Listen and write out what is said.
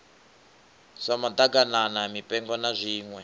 sa maḓaganana mipengo na zwiṋwe